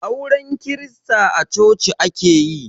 Auren krista a coci ake yi